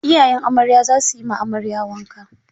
Iyayan amarya za su yi ma amarya wanka.